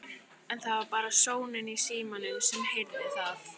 En það var bara sónninn í símanum sem heyrði það.